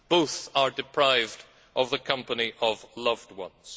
Both are deprived of the company of loved ones.